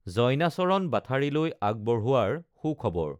জইনাচৰণ বাথাৰীলৈ আগবঢ়োৱাৰ সুখবৰ